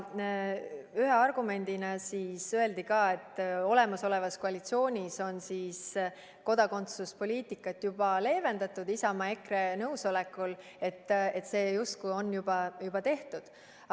Ühe argumendina öeldi ka seda, et olemasolevas koalitsioonis on kodakondsuspoliitikat juba leevendatud Isamaa ja EKRE nõusolekul, st see on justkui juba tehtud.